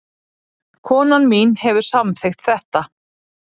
Konan mín hefur samþykkt þetta